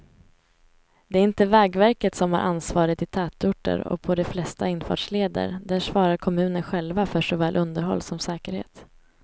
Det är inte vägverket som har ansvaret i tätorter och på de flesta infartsleder, där svarar kommunerna själva för såväl underhåll som säkerhet.